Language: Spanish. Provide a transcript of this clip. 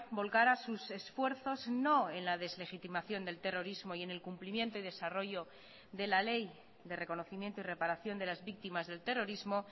volcara sus esfuerzos no en la deslegitimación del terrorismo y en el cumplimiento y desarrollo de la ley de reconocimiento y reparación de las víctimas del terrorismo